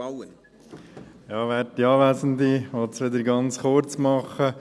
Ich will es wieder ganz kurz machen.